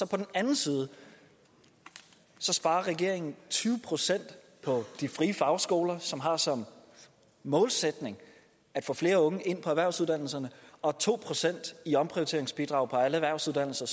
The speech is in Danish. den anden side sparer regeringen tyve procent på de frie fagskoler som har som målsætning at få flere unge ind på erhvervsuddannelserne og to procent i omprioriteringsbidrag på alle erhvervsuddannelser